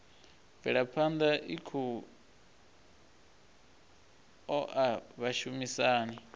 mvelaphana i khou oa vhashumisani